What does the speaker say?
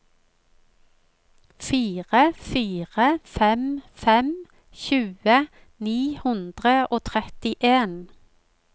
fire fire fem fem tjue ni hundre og trettien